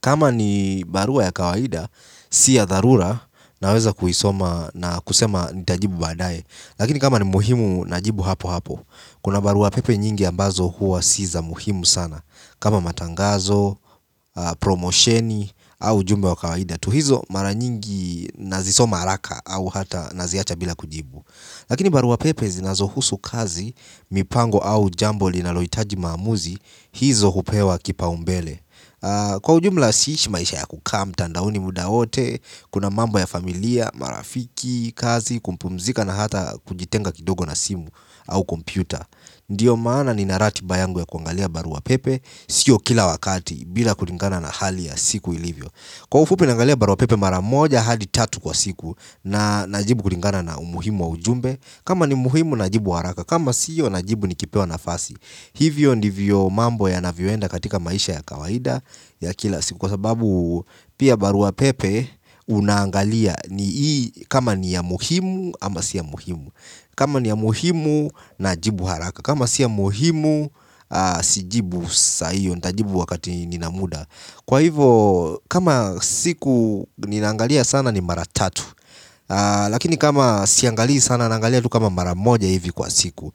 kama ni barua ya kawaida si ya tharura naweza kuisoma na kusema nitajibu baadaye lakini kama ni muhimu najibu hapo hapo kuna barua pepe nyingi ambazo huwa si za muhimu sana kama matangazo, promosheni au ujumbe wa kawaida tu hizo mara nyingi nazisoma haraka au hata naziacha bila kujibu. Lakini barua pepe zinazohusu kazi, mipango au jambo linalohitaji maamuzi hizo hupewa kipaumbele. Kwa ujumla siishi maisha ya kukaa mtandaoni muda wote, kuna mambo ya familia, marafiki, kazi, kupumzika na hata kujitenga kidogo na simu au kompyuta. Ndiyo maana nina ratiba yangu ya kuangalia barua pepe sio kila wakati bila kulingana na hali ya siku ilivyo kwa ufupi naangalia barua pepe maramoja hadi tatu kwa siku na najibu kulingana na umuhimu wa ujumbe kama ni muhimu najibu haraka kama sio najibu nikipewa nafasi hivyo ndivyo mambo yanavyoenda katika maisha ya kawaida ya kila siku kwa sababu pia barua pepe unaangalia ni hii kama ni ya muhimu ama si ya muhimu kama ni ya muhimu najibu haraka kama si ya muhimu sijibu sahio. Nitajibu wakati nina muda kwa hivo kama siku nina angalia sana ni mara tatu lakini kama siangalii sana naangalia tu kama mara moja hivi kwa siku.